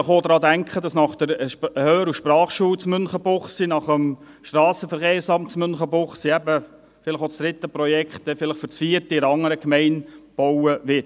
Vielleicht sollten wir auch daran denken, dass nach der Hör- und Sprachschule in Münchenbuchsee, nach dem Strassenverkehrsamt in Münchenbuchsee vielleicht auch das dritte Projekt für das vierte künftig in einer anderen Gemeinde gebaut wird.